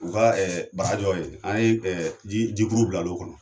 U ka bara jɔ ye yen, an ye jikuru bila la o kɔnɔ